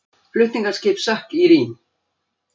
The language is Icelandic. Flutningaskip sökk í Rín